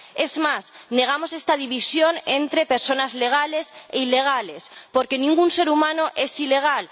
Es más, negamos esta división entre personas legales e ilegales, porque ningún ser humano es ilegal.